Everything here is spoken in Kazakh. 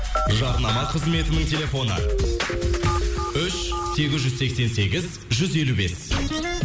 жарнама қызметінің телефоны үш сегіз жүз сексен сегіз жүз елу бес